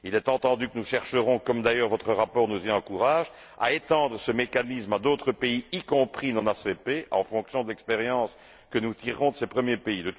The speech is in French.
Il est entendu que nous chercherons, comme d'ailleurs votre rapport nous y encourage, à étendre ce mécanisme à d'autres pays, y compris non ACP, en fonction d'expériences que nous tirerons de ces premiers pays.